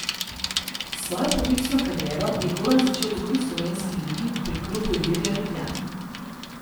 Svojo poklicno kariero je Goran začel v drugi slovenski ligi pri klubu Ilirija Ljubljana.